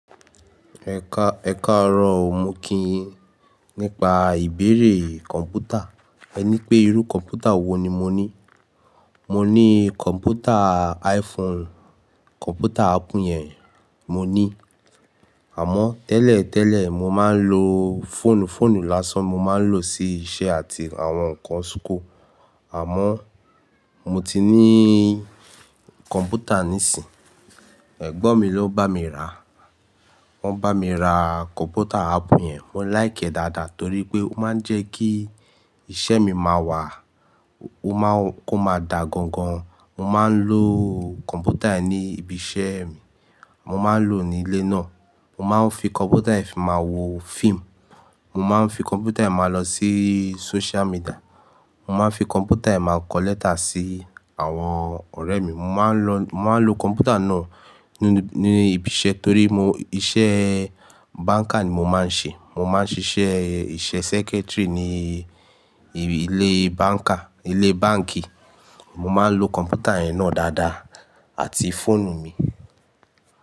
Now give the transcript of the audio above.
Ẹ̀ka ẹ̀kaarọ̀ o mo kí yin nípa ìbéèrè kọ̀mpútà. Ẹ ní pé irú kọ̀mpútà wo ni mo ní? Mo ní kọ̀mpútà iPhone, kọ̀mpútà Apple yẹn mo ní. Àmọ́ tẹ́lẹ̀ tẹ́lẹ̀ mo máa ń lo fọ́ọ̀nù, fọ́ọ̀nù lásán mo máa ń lò sí iṣẹ́ àti àwọn nǹkan súkó. Àmọ́ mo ti ní kọ̀mpútà nísìínyí. Ẹ̀gbọ́n mi ló bá mi ra. Wọ́n bá mi ra kọ̀mpútà Apple yẹn. Mo láìki ẹ́ dáadáa torí pé ó máa ń jẹ́ kí iṣẹ́ mi máa wà, ó máa ń kó máa dà gangan. Mo máa ń lo kọ̀mpútà yẹn ní ibi iṣẹ́ mi, mo máa ń lò ní ilé náà. Mo máa ń fi kọ̀mpútà yẹn máa wo fíìmù, mo máa ń fi kọ̀mpútà yẹn máa lọ sí social media, mo máa ń fi kọ̀mpútà yẹn máa kọ lẹ́tà sí àwọn ọ̀rẹ́ mi. Mo máa ń lo, mo máa ń lo kọ̀mpútà náà nínú ní ibi iṣẹ́ torí mo iṣẹ́ báńkà ni mo máa ń ṣe. Mo máa ń ṣiṣẹ́ iṣẹ́ secretary ní ilé báńkà, ilé báǹkì. Mo máa ń lo kọ̀mpútà yẹn náà dáadáa àti fóònù mi.